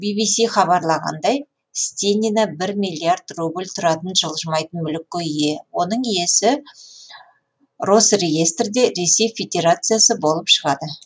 ввс хабарлағандай стенина бір миллиард рубль тұратын жылжымайтын мүлікке ие оның иесі росреестрде ресей федерациясы болып шығады